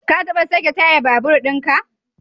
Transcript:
Ka taba sake tayar babur din ka?